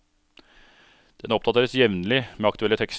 Den oppdateres jevnlig med aktuelle tekster.